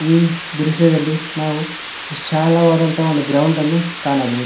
ಈ ದೃಶ್ಯದಲ್ಲಿ ನಾವು ವಿಶಾಲವದಂತ ಒಂದು ಗ್ರೌಂಡ್ ಅನ್ನು ಕಾಣಬಹುದು.